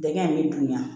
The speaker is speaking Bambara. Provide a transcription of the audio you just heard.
Dɛgɛn in bɛ dun yan